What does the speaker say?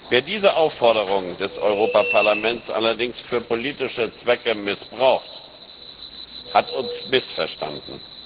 Wer diese Aufforderung des Europäischen Parlaments allerdings für politische Zwecke missbraucht, hat uns missverstanden.